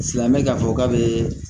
Filan bɛ k'a fɔ k'a bɛ